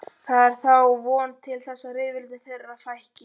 Það er þá von til þess að rifrildum þeirra fækki.